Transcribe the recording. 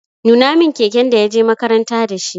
Nuna min keken da ya je makaranta da shi!